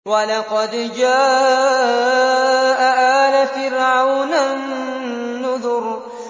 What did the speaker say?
وَلَقَدْ جَاءَ آلَ فِرْعَوْنَ النُّذُرُ